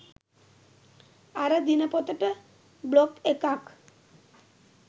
අර දිනපොතට බ්ලොග් එකක්.